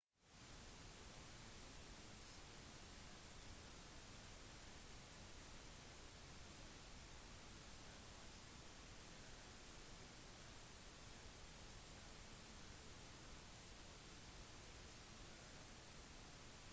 vanligvis kommer de med høyere båndbredde og bedre kvalitet på servicen de er også kryptert og derfor mer problematisk å skulle spionere på